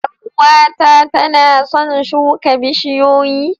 Yar uwata tana son shuka bishiyoyi